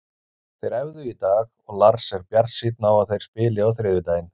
Þeir æfðu í dag og Lars er bjartsýnn á að þeir spili á þriðjudaginn.